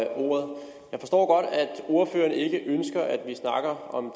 ordføreren ikke ønsker at vi snakker om